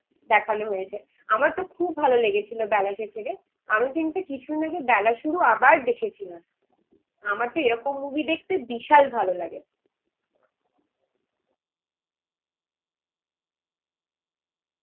দেখানো হয়েছে. আমার তো খুব ভালো লেগেছিল বেলা শেষে. আমি কিন্তু কিছুদিন আগে বেলা শুরু আবার দেখেছিলাম. আমার তো এরকম মুভি দেখতে বিশাল ভালো লাগে